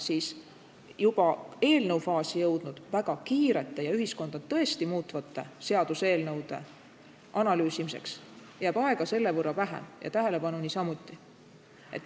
Samas juba eelnõu faasi jõudnud väga kiirete ja ühiskonda tõesti muutvate õigusaktide analüüsimiseks jääb aega selle võrra vähem ja tähelepanu niisamuti.